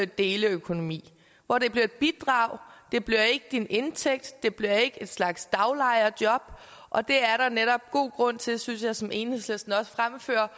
deleøkonomi hvor det bliver et bidrag det bliver ikke din indtægt det bliver ikke en slags daglejerjob og det er der netop god grund til synes jeg som enhedslisten også fremfører